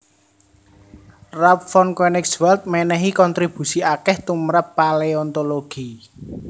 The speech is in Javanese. Ralph von Koenigswald mènèhi kontribusi akèh tumrap paleontologi